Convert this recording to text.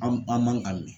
An an man ka mɛn